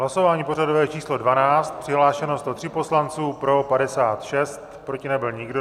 Hlasování pořadové číslo 12, přihlášeno 103 poslanců, pro 56, proti nebyl nikdo.